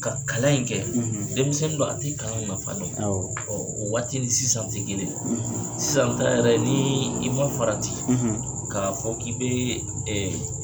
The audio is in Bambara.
Ka kalan in kɛ denmisɛn do a tɛ kalan nafa dɔn o waati ni sisan tɛ kelen sisan ta yɛrɛ ni i man farati k'a fɔ k'i bɛ